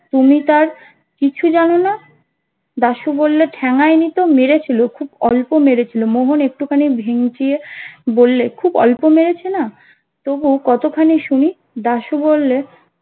তুমি তার কিচ্ছু জানো না দাসু বললো ঠেঙিয়েইনি তো মেরেছিলো খুব অল্প মেরেছিলো মোহন একটু খানি ভিঙচিয়ে বল্লে খুব অল্প মেরেছে না তবু কতখানি শুনি দাশু বললে